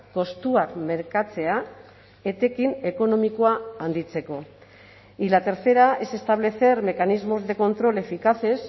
kostuak merkatzea etekin ekonomikoa handitzeko y la tercera es establecer mecanismos de control eficaces